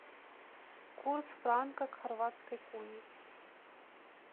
курс франка к хорватской куне